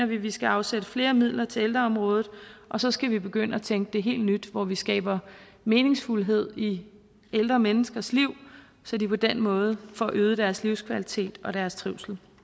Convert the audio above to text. vi skal afsætte flere midler til ældreområdet og så skal vi begynde at tænke det helt nyt hvor vi skaber meningsfuldhed i ældre menneskers liv så de på den måde får øget deres livskvalitet og deres trivsel